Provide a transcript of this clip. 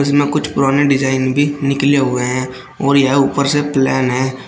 इसमें कुछ पुराने डिजाइन भी निकले हुए हैं और यह ऊपर से प्लेन है।